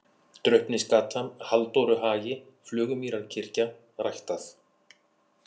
Draupnisgata, Halldóruhagi, Flugumýrarkirkja, Ræktað